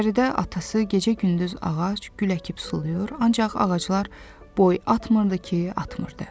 Biləcəridə atası gecə-gündüz ağac, gül əkib sulayır, ancaq ağaclar boy atmırdı ki, atmırdı.